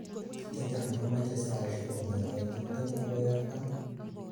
Chechang komeche saisiek kongete tiptem akoi artam